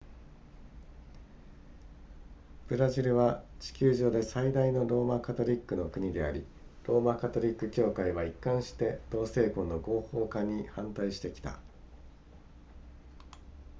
ブラジルは地球上で最大のローマカトリックの国でありローマカトリック教会は一貫して同性婚の合法化に反対してきた